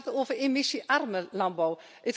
Het gaat over emissiearme landbouw.